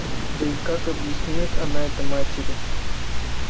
да и как объяснит она это матери